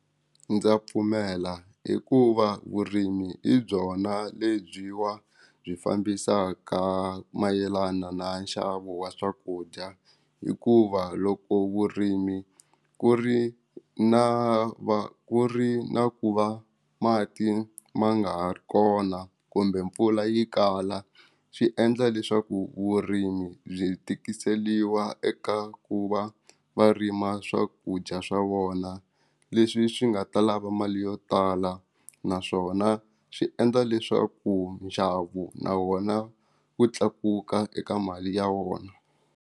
Ndza pfumela i ku va vurimi i byona lebyiwa byi fambisaka mayelana na nxavo wa swakudya hikuva loko vurimi ku ri na va ku ri na ku va mati ma nga ri kona kumbe mpfula yi kala swi endla leswaku vurimi byi tikiseliwa eka ku va varima swakudya swa vona leswi swi nga ta lava mali yo tala naswona swi endla leswaku nxavo na wona wu tlakuka eka mali ya vona.